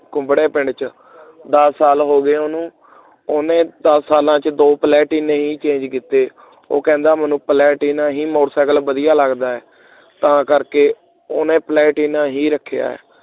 ਕੁਬੜੇ ਪਿੰਡ ਚ ਦਸ ਸਾਲ ਹੋ ਗਏ ਉਹਨੂੰ ਓਹਨੇ ਦਸ ਸਾਲਾਂ ਚ ਦੇ ਪਲਟੀਨੇ ਹੀ ਨਹੀਂ change ਕਿਤੇ ਉਹ ਕਹਿੰਦਾ ਮੈਨੂੰ ਪਲੇਟਿਨਾ ਹੀ ਮੋਟਰਸਾਈਕਲ ਵਧੀਆ ਲਗਦਾ ਹੈ ਤਾਂ ਕਰਕੇ ਉਹਨੇ ਪਲੇਟਿਨਾ ਹੀ ਰਖਿਆ ਹੈ